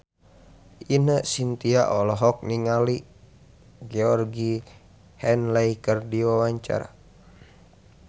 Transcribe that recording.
Ine Shintya olohok ningali Georgie Henley keur diwawancara